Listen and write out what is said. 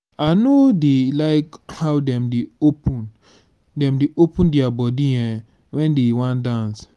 i no dey like how dem dey open dem dey open their body um wen dey wan dance